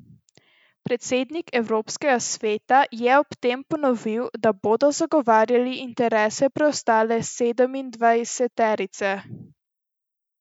Predsednik Evropskega sveta je ob tem ponovil, da bodo zagovarjali interese preostale sedemindvajseterice.